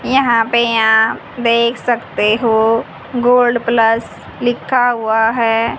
यहां पे आप देख सकते हो गोल्ड प्लस लिखा हुआ है।